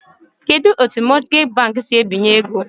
Kedu etu mọtgeji bankị si ebinye ego?